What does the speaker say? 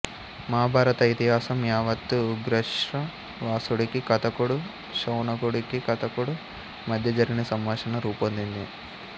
మహాభారత ఇతిహాసం యావత్తూ ఉగ్రశ్రవసుడికీ కథకుడు శౌనకుడికీ కథకుడు మధ్య జరిగిన సంభాషణగా రూపొందింది